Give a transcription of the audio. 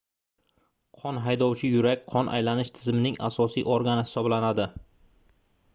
qon haydovchi yurak qon aylanish tizimining asosiy organi hisoblanadi